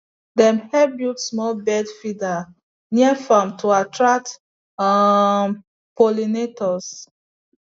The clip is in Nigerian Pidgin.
dem help build small bird feeder near farm to attract um pollinators